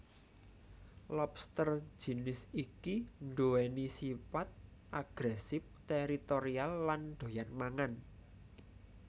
Lobster jinis iki nduwèni sipat agresif teritorial lan doyan mangan